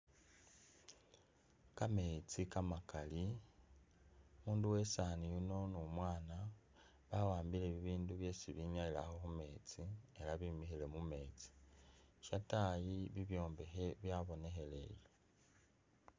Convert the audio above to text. Kameetsi kamakaali ,umundu wesaani yuno ne umwana bawambile bibindu byesi binyayilakho khu’meetsi ela bimikhile mumeetsi , shataayi bibwombekhe byabonekhelele.